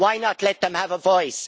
Why not let them have a voice?